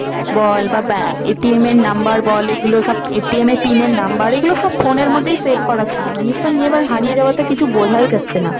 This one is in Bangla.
বল বা এর number বল এগুলো সব এর pin এর number, এগুলো সব phone এর মধ্যেই save করা ছিল জানিস তো, নিয়ে এবার হারিয়ে যাওয়া তে কিছু বোঝাই যাচ্ছে না।